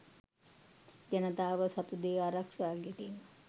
ජනතාව සතුදේ ආරක්ෂා කිරීම